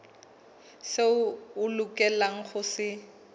seo a lokelang ho se